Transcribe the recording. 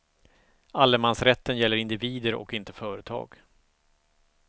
Allemansrätten gäller individer och inte företag.